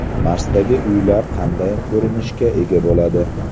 Marsdagi uylar qanday ko‘rinishga ega bo‘ladi?